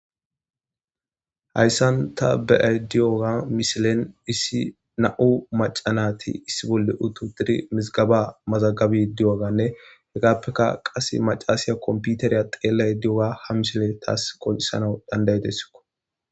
Hayssan ta be'ay diyoga misilen issi na'u macanati issi bolle utu tidi mizgaba mazagabi di'oganne hegappeka qase macaasiya komputeriya xeellay di'oga ha misile taas qol'isana dandayidessiko